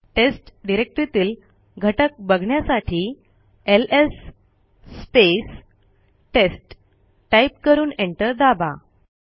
taste डिरेक्टरीतील घटक बघण्यासाठी एलएस टेस्ट टाईप करून एंटर दाबा